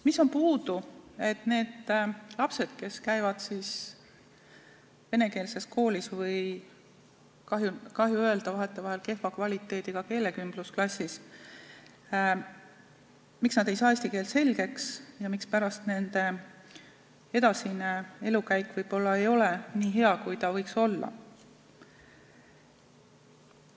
Mis on puudu, et need lapsed, kes käivad venekeelses koolis või, kahju öelda, vahetevahel kehva kvaliteediga keelekümblusklassis, ei saa eesti keelt selgeks, ja mispärast nende edasine elukäik võib-olla ei ole nii hea, kui ta võiks olla?